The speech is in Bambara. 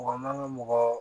Mɔgɔ man ka mɔgɔ